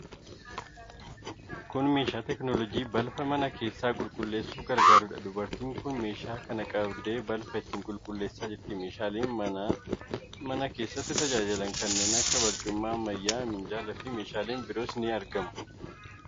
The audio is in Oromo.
Kun meeshaa teekinooloojii balfa mana keessaa qulqulleessuuf gargaaruudha. Dubartiin tokko meeshaa kana qabdee balfa ittiin qulqulleessaa jirti. Meeshaaleen mana keessatti tajaajilan kanneen akka barcuma ammayyaa, minjaalaa fi meeshaaleen biroos ni argamu.